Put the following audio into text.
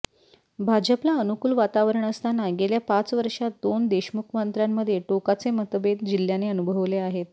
भाजपला अनुकूल वातावरण असताना गेल्या पाच वर्षांत दोन देशमुख मंत्र्यांमध्ये टोकाचे मतभेद जिल्ह्याने अनुभवले आहेत